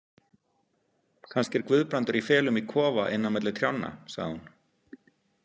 Kannski er Guðbrandur í felum í kofa inni á milli trjánna, sagði hún.